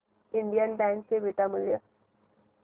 Indian bank चे beta मूल्य